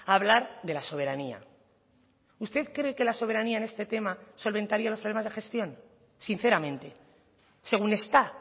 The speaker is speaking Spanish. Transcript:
a hablar de la soberanía usted cree que la soberanía en este tema solventaría los problemas de gestión sinceramente según está